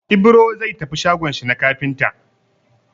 Ibro zai tafi shagon shi na kafinta.